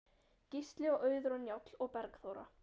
Gísli og Auður og Njáll og Bergþóra.